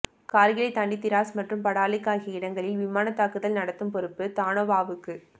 கார்கில்லைத் தாண்டி திராஸ் மற்றும் படாலிக் ஆகிய இடங்களில் விமான தாக்குதல் நடத்தும் பொறுப்பு தனோவாவுக்கு